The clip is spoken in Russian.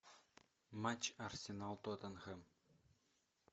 матч арсенал тоттенхэм